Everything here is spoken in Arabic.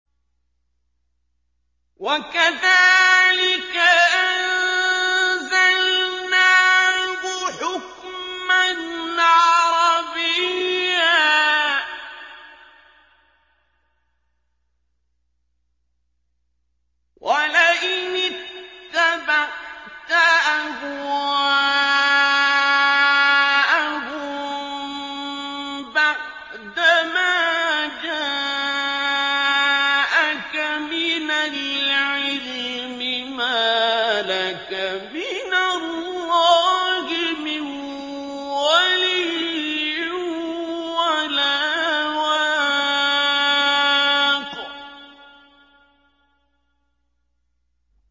وَكَذَٰلِكَ أَنزَلْنَاهُ حُكْمًا عَرَبِيًّا ۚ وَلَئِنِ اتَّبَعْتَ أَهْوَاءَهُم بَعْدَمَا جَاءَكَ مِنَ الْعِلْمِ مَا لَكَ مِنَ اللَّهِ مِن وَلِيٍّ وَلَا وَاقٍ